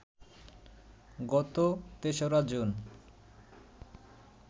গত ৩রা জুন